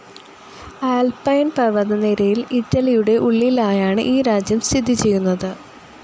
Alpine പർവതനിരയിൽ ഇറ്റലിയുടെ ഉള്ളിലായാണ് ഈ രാജ്യം സ്ഥിതി ചെയ്യുന്നത്.